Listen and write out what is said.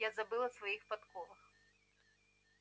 я забыл о своих подковах